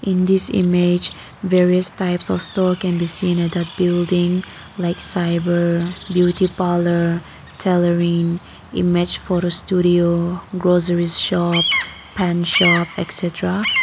in this image various types of store can be seen at that building like cyber beauty parlour tailoring image photo studio grocery shop pan shop et cetera.